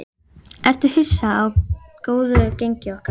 Ertu hissa á góðu gengi ykkar?